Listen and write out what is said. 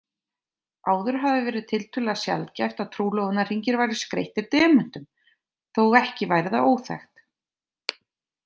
Áður hafði verið tiltölulega sjaldgæft að trúlofunarhringir væru skreyttir demöntum, þótt ekki væri það óþekkt.